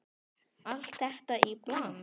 Allt þetta í bland?